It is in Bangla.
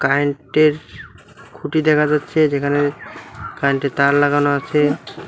কারেন্ট এর খুঁটি দেখা যাচ্ছে যেখানে কারেন্ট -এর তার লাগানো আছে।